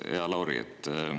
Hea Lauri!